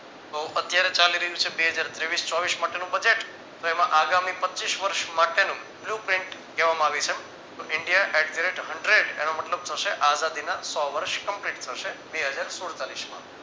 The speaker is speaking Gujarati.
તો અત્યારે ચાલી રહ્યું છે બે હજાર તેવીસ ચોવીસ માટેનું Budget તો એમાં આગામી પચીસ વર્ષ માટેનું blueprint કહેવામાં આવે છે. તો India Exerate Hundred એનો મતલબ થશે આઝાદી ના સો વર્ષ complete થશે બે હજાર સુડતાળીસમાં